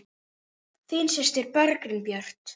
Þín systir, Bergdís Björt.